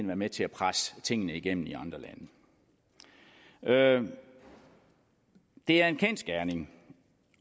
være med til at presse tingene igennem i andre lande det er en kendsgerning